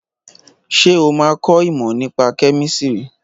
Ṣé o máa kọ ìmọ̀ nípa kẹ́mísìrì?